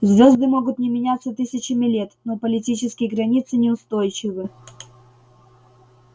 звезды могут не меняться тысячами лет но политические границы неустойчивы